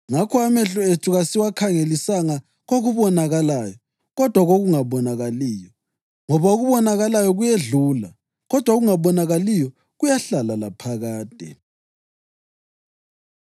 Ngakho amehlo ethu kasiwakhangelisanga kokubonakalayo, kodwa kokungabonakaliyo, ngoba okubonakalayo kuyedlula, kodwa okungabonakaliyo kuyahlala laphakade.